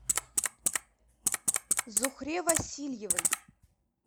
зухре васильевой